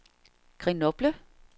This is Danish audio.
Grenoble